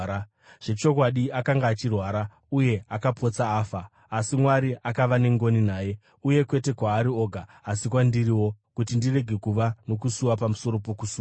Zvechokwadi akanga achirwara, uye akapotsa afa. Asi Mwari akava nengoni naye, uye kwete kwaari oga asi kwandiriwo, kuti ndirege kuva nokusuwa pamusoro pokusuwa.